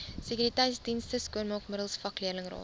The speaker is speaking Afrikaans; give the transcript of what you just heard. sekuriteitsdienste skoonmaakmiddels vakleerlingraad